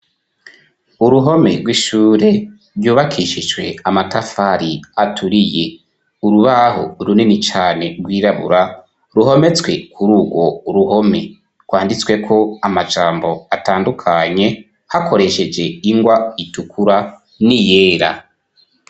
Uruhome rw'ishure ryubakishijwe amatafari aturiye. Urubaho runini cane rw'irabura ruhometswe kuri urwo ruhome ; rwanditsweko amajambo atandukanye hakoresheje ingwa itukura n'iyera.